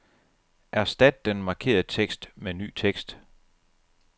Erstat den markerede tekst med ny tekst.